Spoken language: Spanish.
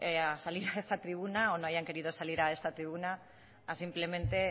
a salir a esta tribuna o no hayan querido salir a esta tribuna simplemente